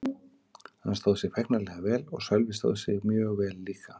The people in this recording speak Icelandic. Hann stóð sig feiknarlega vel og Sölvi stóð sig mjög vel líka.